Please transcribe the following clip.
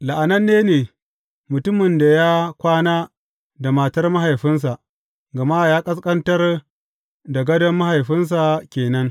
La’ananne ne mutumin da ya kwana da matar mahaifinsa, gama ya ƙasƙantar da gadon mahaifinsa ke nan.